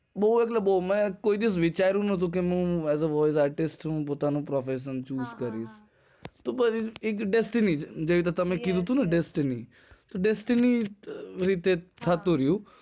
બો એટલે બો હું ક્યારે વિચાર્યું નથી કે હું as a voice artist હું પોતાનું profession choose કરીશ તો પછી એક destiny રીતે થતું રહ્યું